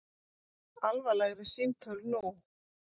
Alvarlegri símtöl nú